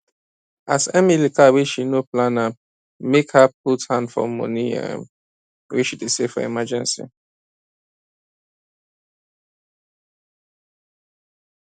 as emily car wey she no plan m make her put hand for money um wey she dey save for emergency